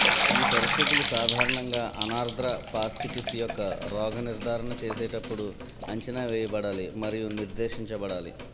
ఈ పరిస్థితులు సాధారణంగా అనార్ద్ర ఫాస్కిటిస్ యొక్క రోగ నిర్ధారణ చేసేటప్పుడు అంచనావేయబడాలి మరియు నిర్దేశించబడాలి